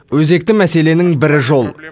өзекті мәселенің бірі жол